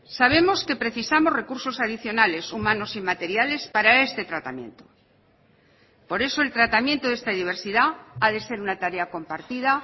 sabemos que precisamos recursos adicionales humanos y materiales para este tratamiento por eso el tratamiento de esta diversidad ha de ser una tarea compartida